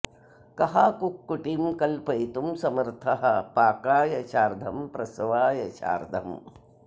कः कुक्कुटीं कल्पयितुं समर्थः पाकाय चार्धं प्रसवाय चार्धम्